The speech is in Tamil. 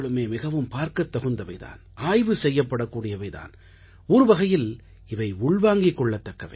மிகவும் பார்க்கத் தகுந்தவை தான் ஆய்வு செய்யப்படக்கூடியவை தான் ஒருவகையில் இவை உள்வாங்கிக் கொள்ளத்தக்கவை